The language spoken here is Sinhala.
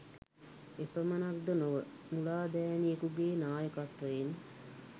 එපමණක් ද නොව මුලාදෑනියකුගේ නායකත්වයෙන්